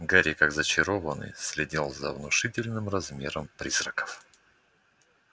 гарри как зачарованный следил за внушительных размеров призраком